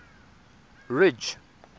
ridge